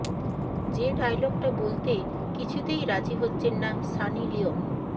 যে ডায়লগটা বলতে কিছুতেই রাজি হচ্ছেন না সানি লিওন